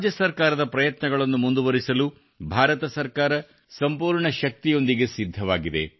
ರಾಜ್ಯ ಸರ್ಕಾರದ ಪ್ರಯತ್ನಗಳನ್ನು ಮುಂದುವರಿಸಲು ಭಾರತ ಸರ್ಕಾರ ಸಂಪೂರ್ಣ ಶಕ್ತಿಯೊಂದಿಗೆ ಸಿದ್ಧವಾಗಿದೆ